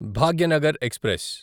Bhagyanagar express